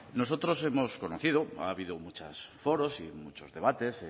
nosotros hemos conocido ha habido muchos foros y muchos debates